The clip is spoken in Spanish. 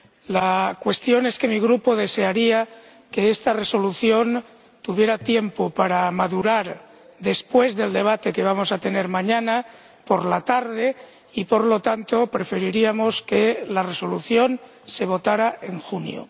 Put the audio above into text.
La cuestión es que mi Grupo desearía que esta resolución tuviera tiempo para madurar después del debate que vamos a celebrar mañana por la tarde y, por lo tanto, preferiríamos que la resolución se sometiera a votación en junio.